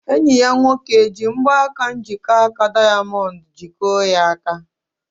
Enyi ya nwoke eji mgbaka njikọaka dayamondu jikọọ ya aka?